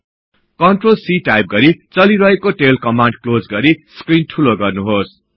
CTRL C type गरि चलिरहेको tail command close गरि स्क्रिन ठुलो गर्नुहोस्